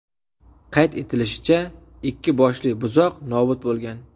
Qayd etilishicha, ikki boshli buzoq nobud bo‘lgan.